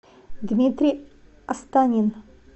дмитрий астанин